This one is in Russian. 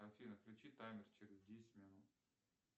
афина включи таймер через десять минут